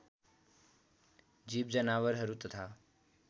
जीव जनावरहरू तथा